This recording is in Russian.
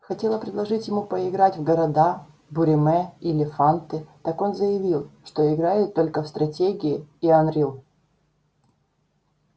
хотела предложить ему поиграть в города буриме или фанты так он заявил что играет только в стратегии и анрил